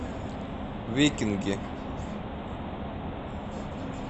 викинги